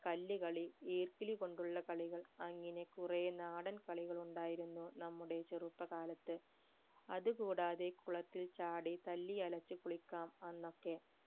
കല്ലുകളി ഈർക്കിലി കൊണ്ടുള്ള കളികൾ അങ്ങനെ കുറെ നാടൻ കളികൾ ഉണ്ടായിരുന്നു നമ്മുടെ ചെറുപ്പകാലത്ത് അത് കൂടാതെ കുളത്തിൽ ചാടി തല്ലി അലച്ചു കുളിക്കാം അന്നൊക്കെ